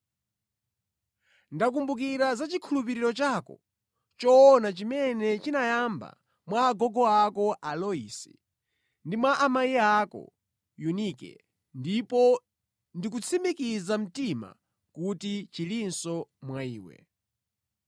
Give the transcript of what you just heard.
Ndakumbukira za chikhulupiriro chako choona chimene chinayamba mwa agogo ako a Loisi ndi mwa amayi ako Yunike ndipo ndikutsimikiza mtima kuti chilinso mwa iwe.